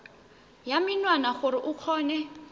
ya menwana gore o kgone